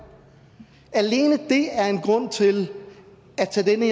alene det er en grund til at tage